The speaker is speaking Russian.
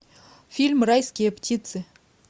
фильм райские птицы